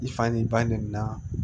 I fa ni ba ninmina